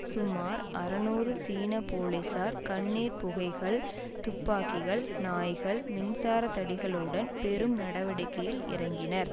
சுமார் அறுநூறு சீன போலீசார் கண்ணீர் புகைகள் துப்பாக்கிகள் நாய்கள் மின்சாரத்தடிகளுடன் பெரும் நடவடிக்கையில் இறங்கினர்